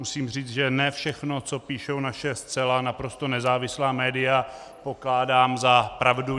Musím říct, že ne všechno, co píší naše zcela naprosto nezávislá média, pokládám za pravdu.